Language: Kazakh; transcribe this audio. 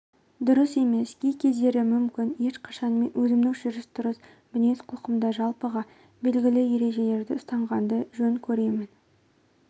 дұрыс емес кей кездері мүмкін ешқашан мен өзімнің жүріс-тұрыс мінез-құлқымда жалпыға белгілі ережелерді ұстанғанды жөн көремін